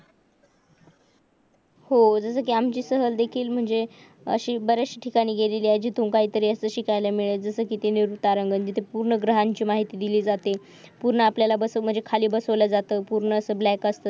हो म्हणजे आमची सहल म्हणजे अशी बरेच ठिकाणी गेली त्यातून काहीतरी असेल शिकायला मिळते पूर्णा ग्रहांची माहिती दिली जाते पूर्ण आपल्याला बसमध्ये खाली बसवला जातो पूर्णत ब्लॅक असतो